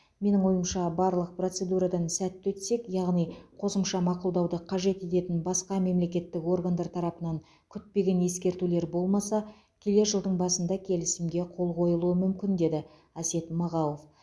менің ойымша барлық процедурадан сәтті өтсек яғни қосымша мақұлдауды қажет ететін басқа мемлекеттік органдар тарапынан күтпеген ескертулер болмаса келер жылдың басында келісімге қол қойылуы мүмкін деді әсет мағауов